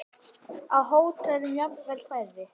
Á hótelum jafnvel færri.